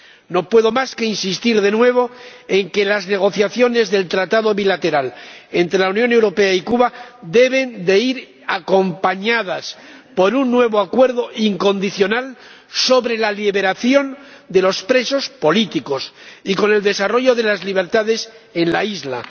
No puedo más que insistir de nuevo en que las negociaciones del tratado bilateral entre la Unión Europea y Cuba deben ir acompañadas por un nuevo acuerdo incondicional sobre la liberación de los presos políticos y por el desarrollo de las libertades en la isla.